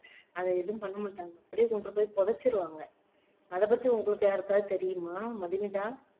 அதை எதுவும் பண்ண மாட்டாங்க அப்படியே கொண்டு போய் புதைச்சுருவாங்க அதைப் பத்தி உங்களுக்கு யாருக்காவது தெரியுமா மதுமிதா